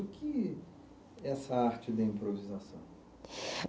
O que é essa arte da improvisação?